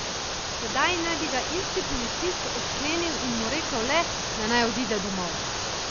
Tedaj naj bi ga isti policist odklenil in mu rekel le, da naj odide domov.